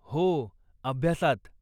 हो, अभ्यासात.